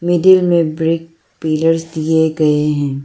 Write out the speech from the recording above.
Building में brick pillars दिए गए है।